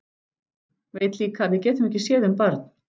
Veit líka að við getum ekki séð um barn.